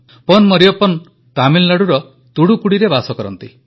ପନ୍ ମରିୟପ୍ପନ୍ ତାମିଲନାଡ଼ୁର ତୁତୁକୁଡ଼ିରେ ବାସ କରନ୍ତି